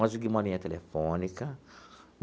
Conseguimos uma linha telefônica.